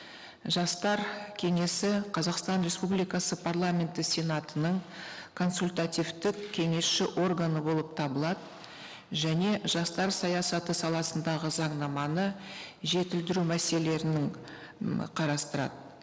жастар кеңесі қазақстан республикасы парламенті сенатының консультативтік кеңесші органы болып табылады және жастар саясаты саласындағы заңнаманы жетілдіру мәселелерінің қарастырады